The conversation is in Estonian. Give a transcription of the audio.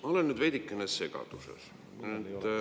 Ma olen nüüd veidikene segaduses.